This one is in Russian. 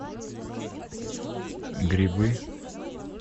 грибы